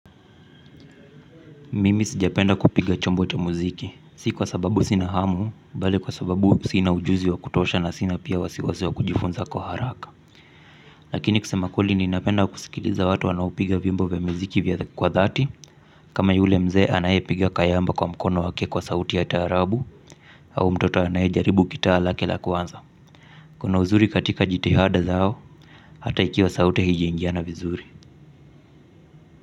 Mimi sijapenda kupiga chombo cha muziki, si kwa sababu sina hamu, bali kwa sababu sina ujuzi wa kutosha na sina pia wasiwasi wa kujifunza kwa haraka. Lakini kusema kweli ninapenda kusikiliza watu wanaupiga vyiombo vya muziki vya kwa dhati, kama yule mzee anayepiga kayamba kwa mkono wake kwa sauti ya taarabu, au mtoto anayejaribu kitaa lake la kwanza. Kuna uzuri katika jitihada zao, hata ikiwa sauti hijiingiana vizuri.